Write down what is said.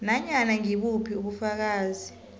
nanyana ngibuphi ubufakazi